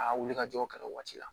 A wuli ka jɔ ka waati la